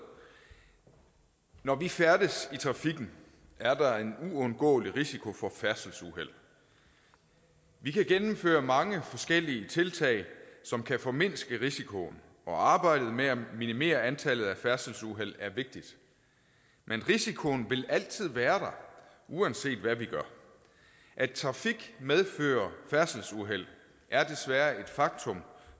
når vi færdes i trafikken er der en uundgåelig risiko for færdselsuheld vi kan gennemføre mange forskellige tiltag som kan formindske risikoen og arbejdet med at minimere antallet af færdselsuheld er vigtigt men risikoen vil altid være der uanset hvad vi gør at trafik medfører færdselsuheld er desværre et faktum